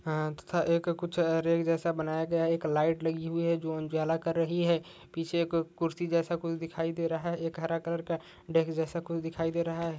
तथा एक कुछ रेक जैसा बनाया गया है एक लाईट लगी हुई है जो उजाला कर रही है पीछे कुर्शी जैसा कुछ दिखाई दे रहा है एक हरा कलर का डेस्क जैसा कुछ दिखाई दे रहा है।